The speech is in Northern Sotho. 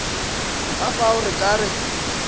ka fao re ka re